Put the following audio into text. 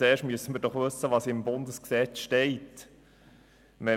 Zuerst müssen wir doch wissen, was im Bundesgesetz stehen wird.